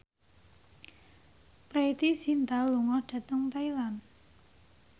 Preity Zinta lunga dhateng Thailand